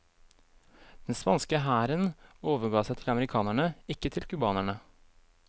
Den spanske hæren overga seg til amerikanerne, ikke til cubanerne.